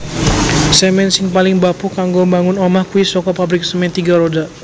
Semen sing paling bapuh kanggo mbangun omah kui soko pabrik Semen Tiga Roda